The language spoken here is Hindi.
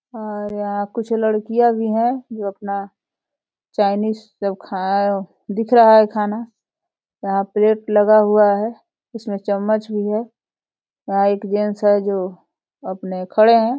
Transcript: और यहाँ कुछ लड़कियां भी हैं जो अपना चायनीज़ जो खा दिख रहा है खाना। यहाँ प्लेट लगा हुआ है इसमें चम्मच भी है। यहाँ एक जेंट्स है जो अपने खड़े है।